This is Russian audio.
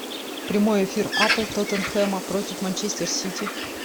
прямой эфир апл тоттенхэма против манчестер сити